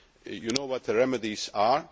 You know what the remedies are